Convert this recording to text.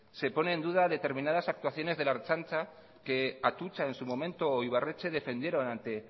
se pone en duda determinadas actuaciones de la ertzaintza que atutxa en su momento o ibarretxe defendieron ante